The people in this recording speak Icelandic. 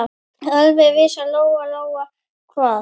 Alveg vissi Lóa-Lóa hvað